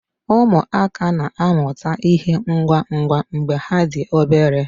Ụmụaka na-amụta ịhe ngwa ngwa mgbe ha dị obere